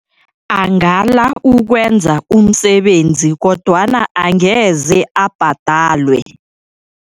Angala ukwenza umsebenzi kodwana angeze abhadalwe.